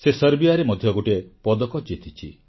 ସେ ସର୍ବିୟାରେ ମଧ୍ୟ ଗୋଟିଏ ପଦକ ଜିତିଛି